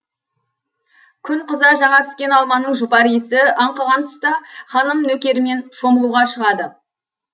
күн қыза жаңа піскен алманың жұпар иісі аңқыған тұста ханым нөкерімен шомылуға шығады